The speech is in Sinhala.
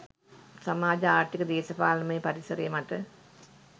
සමාජ ආර්ථික දේශපාලනමය පරිසරය මත